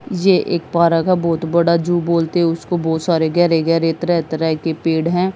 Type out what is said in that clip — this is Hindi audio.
ये एक पार्क है बहुत बड़ा जू बोलते हैं उसको बहुत सारे गहरे गहरे तरह तरह के पेड़ हैं।